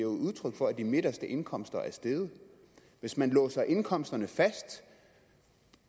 udtryk for at de midterste indkomster er steget hvis man låser indkomsterne fast